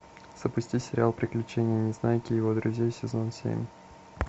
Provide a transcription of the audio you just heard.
запусти сериал приключения незнайки и его друзей сезон семь